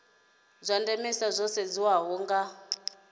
zwa ndemesa zwo sedzeswaho nga